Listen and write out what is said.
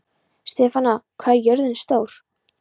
Stefana, hvað er jörðin stór?